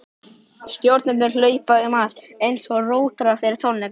Stjórnendur hlaupa um allt, einsog rótarar fyrir tónleika.